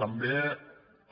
també